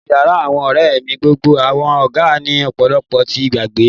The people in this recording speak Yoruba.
Ninu yara awọn ọrẹ mi gbogbo awọn aga ni ọpọlọpọ ti gbígbẹ